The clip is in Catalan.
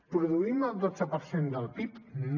produïm el dotze per cent del pib no